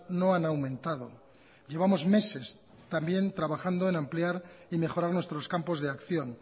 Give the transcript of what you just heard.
no han aumentado llevamos meses también trabajando en ampliar y mejorar nuestros campos de acción